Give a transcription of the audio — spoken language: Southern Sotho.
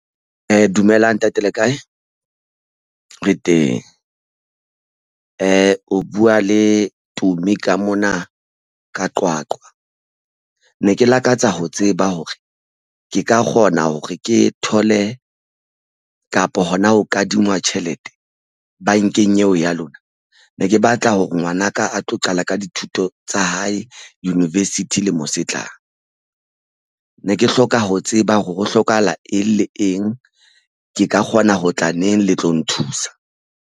Dumelang ntate le kae? Re teng o buwa le Tumi ka mona ka Qwaqwa ne ke lakatsa ho tseba hore ke ka kgona hore ke thole kapo hona ho kadingwa tjhelete bankeng eo ya lona. Ne ke batla hore ngwanaka a tlo qala ka dithuto tsa hae university lemo se tlang ne ke hloka ho tseba hore ho hlokahala eng le eng ke ka kgona ho tla neng le tlo nthusa